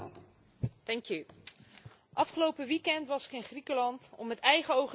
Afgelopen weekend was ik in Griekenland om met eigen ogen te zien hoe de situatie daar is.